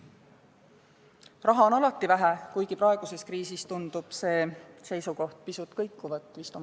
Raha on alati vähe, kuigi praeguses kriisis tundub ka see seisukoht pisut kõikuvat.